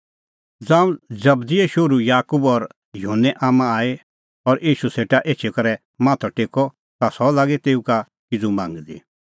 ज़ांऊं जबदीए शोहरू याकूब और युहन्ने आम्मां आई और ईशू सेटा एछी करै माथअ टेक्कअ ता सह लागी तेऊ का किज़ू मांगदी